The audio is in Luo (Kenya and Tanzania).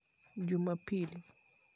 Jumapil.